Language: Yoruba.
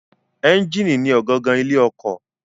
Ẹ́ńjínì ni ọ̀gangan ilé ọkọ̀.